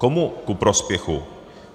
Komu ku prospěchu?